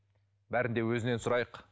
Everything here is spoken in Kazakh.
бәрін де өзінен сұрайық